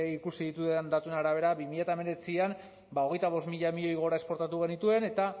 ikusi ditudan datuen arabera bi mila hemeretzian ba hogeita bost mila milioi gora esportatu genituen eta